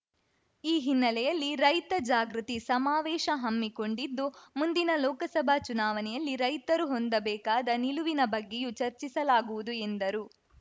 ಈ ಹಿನ್ನೆಲೆಯಲ್ಲಿ ರೈತ ಜಾಗೃತಿ ಸಮಾವೇಶ ಹಮ್ಮಿಕೊಂಡಿದ್ದು ಮುಂದಿನ ಲೋಕಸಭಾ ಚುನಾವಣೆಯಲ್ಲಿ ರೈತರು ಹೊಂದಬೇಕಾದ ನಿಲುವಿನ ಬಗ್ಗೆಯೂ ಚರ್ಚಿಸಲಾಗುವುದು ಎಂದರು